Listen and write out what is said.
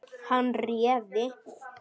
Hann réði.